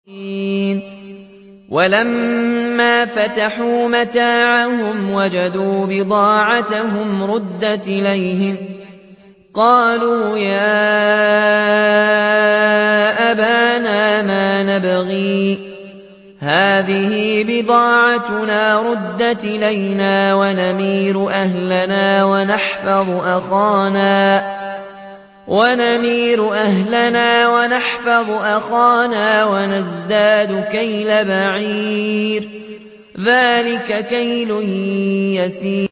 وَلَمَّا فَتَحُوا مَتَاعَهُمْ وَجَدُوا بِضَاعَتَهُمْ رُدَّتْ إِلَيْهِمْ ۖ قَالُوا يَا أَبَانَا مَا نَبْغِي ۖ هَٰذِهِ بِضَاعَتُنَا رُدَّتْ إِلَيْنَا ۖ وَنَمِيرُ أَهْلَنَا وَنَحْفَظُ أَخَانَا وَنَزْدَادُ كَيْلَ بَعِيرٍ ۖ ذَٰلِكَ كَيْلٌ يَسِيرٌ